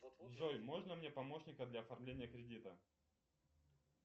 джой можно мне помощника для оформления кредита